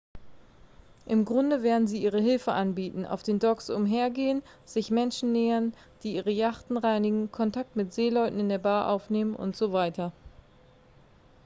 im grunde werden sie ihre hilfe anbieten auf den docks umhergehen sich menschen nähern die ihre yachten reinigen kontakt mit seeleuten in der bar aufnehmen usw